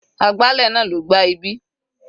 Agbálẹ̀ náà ló gbá ibí.